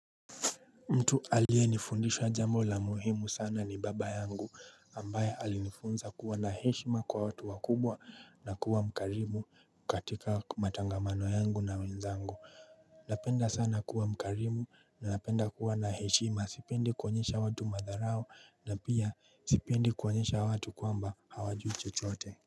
Mtu aliyenifundisha jambo la muhimu sana ni baba yangu ambaye alinifunza kuwa na heshima kwa watu wakubwa na kuwa mkarimu katika matangamano yangu na wenzangu Napenda sana kuwa mkarimu na napenda kuwa na heshima sipendi kuonyesha watu madharao na pia sipendi kuonyesha watu kwamba hawajui chochote.